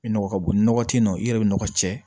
I nɔgɔ ka bon ni nɔgɔ te yen nɔ i yɛrɛ bi nɔgɔ cɛ